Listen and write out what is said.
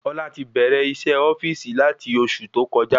Ọlá ti bẹrẹ isé ofíìsì lati oṣù tó kọjá